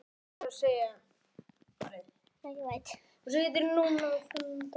Sjáðu bara!